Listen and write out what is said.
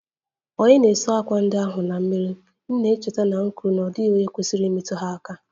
Ònye na-esi àkwá ndị ahụ esi mmiri? M na-echeta na-ekwu na ọ dịghị onye kwesịrị imetụ ha aka